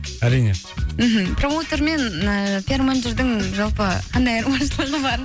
әрине мхм промоутер мен ііі пиар менеджердің жалпы қандай айырмашылығы бар